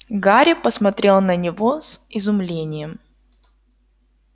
гарри посмотрел на него с изумлением